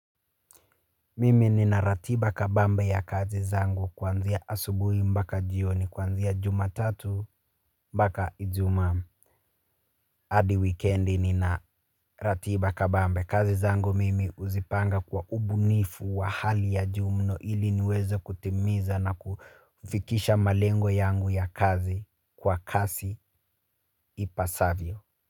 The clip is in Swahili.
Mimi nina ratiba kabambe ya kazi zangu kuanzia asubuhi mbaka jioni kanzia jumatatu mbaka ijumaa hadi wikendi nina ratiba kabambe kazi zangu mimi huzipanga kwa ubunifu wa hali ya juu ili niweze kutimiza na kufikisha malengo yangu ya kazi kwa kasi ipasavyo.